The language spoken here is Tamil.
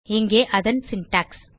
இங்கே அதன் சின்டாக்ஸ்